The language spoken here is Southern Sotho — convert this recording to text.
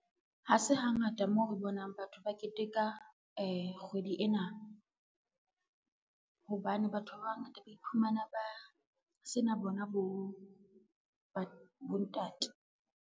Ha se hangata moo re bonang batho ba keteka kgwedi ena, hobane batho ba bangata ba iphumana ba sena bona bontate.